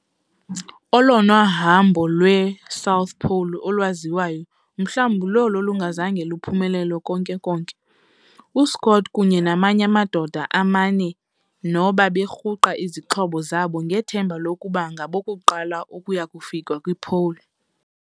Olona hambo lwe'South Pole' o lwaziwayo mhlawumbi lolo lungazange luphumelele konke-konke. U-Scott kunye namany'amadoda amane, nabo berhuqa izixhobo zabo ngethemba lokuba ngabokuqala ukuyakufika kwi-'Pole'.